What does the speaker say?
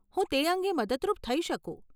હું તે અંગે મદદરૂપ થઇ શકું.